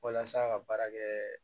Walasa a ka baara kɛ